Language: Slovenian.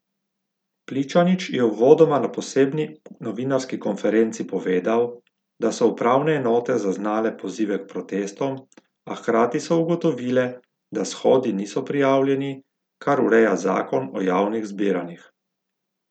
Pličanič je uvodoma na posebni novinarski konferenci povedal, da so upravne enote zaznale pozive k protestom, a hkrati so ugotovile, da shodi niso prijavljeni, kar ureja zakon o javnih zbiranjih.